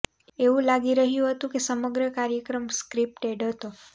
એવું લાગી રહ્યું હતું કે સમગ્ર કાર્યક્રમ સ્ક્રિપ્ટેડ હતો